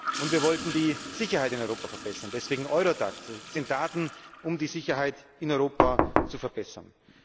Und wir wollten die Sicherheit in Europa verbessern, deswegen Eurodac, der Zugang zu den Daten, um die Sicherheit in Europa zu verbessern.